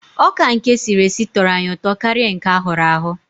Ọka nke esiri esi tọrọ anyị ụtọ karịa nke a hụrụ ahụ.